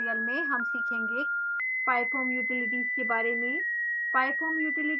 इस ट्यूटोरियल में हम सीखेंगे: pyfoam utilities के बारे में